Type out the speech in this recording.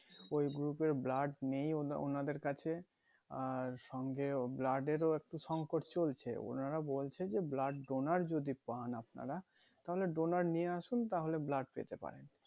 তো ওই group এর blood নেই ওদে ওনাদের কাছে আর সঙ্গেও blood এর ও একটু একটু সংকট চলছে ওনারা বলছে যে blood donor যদি পান আপনারা তাহলে donor নিয়ে আসুন তাহলে blood পেতে পারেন